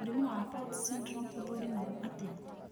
Mũrimũ wa Apert syndrome ũthũrimagwo atĩa?